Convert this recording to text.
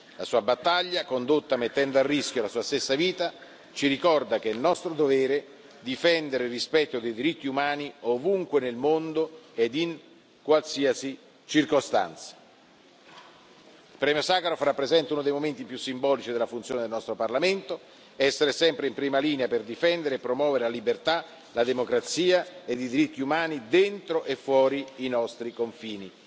La sua battaglia, condotta mettendo a rischio la sua stessa vita, ci ricorda che è nostro dovere difendere il rispetto dei diritti umani ovunque nel mondo e in qualsiasi circostanza. Il premio Sacharov rappresenta uno dei momenti più simbolici della funzione del nostro Parlamento essere sempre in prima linea per difendere e promuovere la liberà, la democrazia e i diritti umani, dentro e fuori i nostri confini.